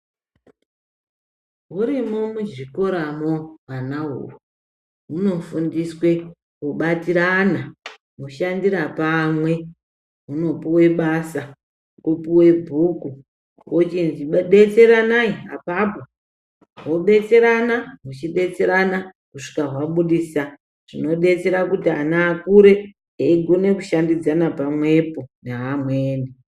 Hurimo muchikoramo hwana uhwu, hunofundiswe kubatirana ,mushandirapamwe, hunopuwa basa, hwopuwe bhuku, hwochinzi detsiranayi apapo, hwodetserana, huchidetserana kusvika hwabudisa chinodetsera kuti ana akure eyigona kushandidzana pamwepo naamweni.